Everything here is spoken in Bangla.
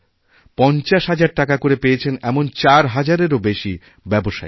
পঞ্চাশ হাজার টাকা করে পেয়েছেন চার হাজারেরও বেশি ব্যবসায়ী